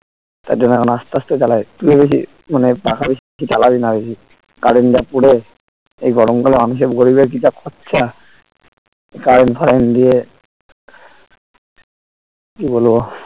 তার জন্য এখন আস্তে আস্তে চালাই two এ বেশি মানে পাখা বেশিচালাবি না বেশি current যা পুড়ে এই গরমকালে মানুষের গরিবের কি খরচা current ফারেন্ট নিয়ে কি বলবো